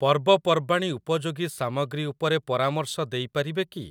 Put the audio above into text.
ପର୍ବପର୍ବାଣି ଉପଯୋଗୀ ସାମଗ୍ରୀ ଉପରେ ପରାମର୍ଶ ଦେଇ ପାରିବେ କି?